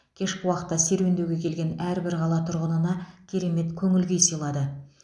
кешкі уақытта серуендеуге келген әрбір қала тұрғынына керемет көңіл күй сыйлады